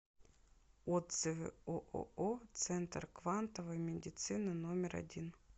отзывы ооо центр квантовой медицины номер один